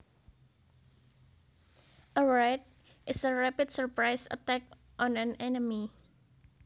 A raid is a rapid surprise attack on an enemy